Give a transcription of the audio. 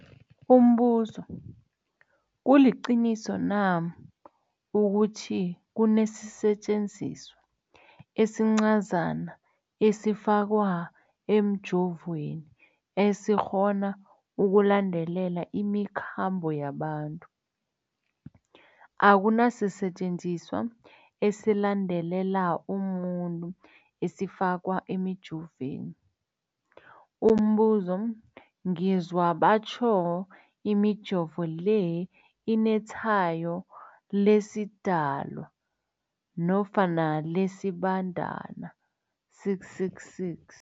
Umbuzo, kuliqiniso na ukuthi kunesisetjenziswa esincazana esifakwa emijovweni, esikghona ukulandelela imikhambo yabantu? Akuna sisetjenziswa esilandelela umuntu esifakwe emijoveni. Umbuzo, ngizwa batjho imijovo le inetshayo lesiDalwa nofana lesiBandana, 666.